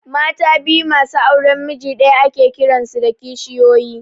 Mata biyu masu auran miji ɗaya ake kiran su kishiyoyi